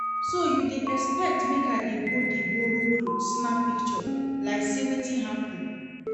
So you dey expect make I dey go dey borrow cloth snap picture like sey wetin happen?